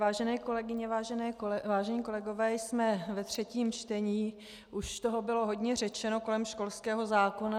Vážené kolegyně, vážení kolegové, jsme ve třetím čtení, už toho bylo hodně řečeno kolem školského zákona.